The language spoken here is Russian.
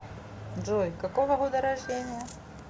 джой какого года рождения